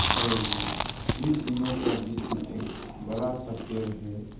और इन तीनों का बीच में एक बड़ा सा पेड़ है।